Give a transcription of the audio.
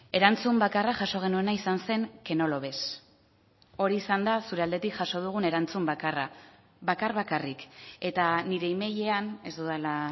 erantzun bakarra jaso genuena izan zen que no lo ves hori izan da zure aldetik jaso dugun erantzun bakarra bakar bakarrik eta nire emailean ez dudala